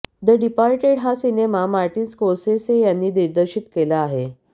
the departed हा cinema Martin Scorsese यांनी दिग्दर्शित केला आहे